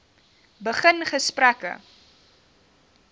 begin gesprekke